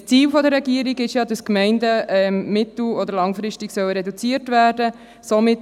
Das Ziel der Regierung ist ja, dass die Gemeindeanzahl mittel- oder langfristig reduziert werden soll.